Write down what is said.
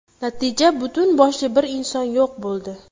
Natija butun boshli bir inson yo‘q bo‘ldi.